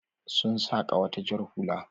Sun saka wata jar hula.